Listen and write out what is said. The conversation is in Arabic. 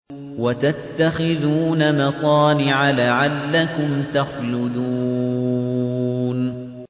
وَتَتَّخِذُونَ مَصَانِعَ لَعَلَّكُمْ تَخْلُدُونَ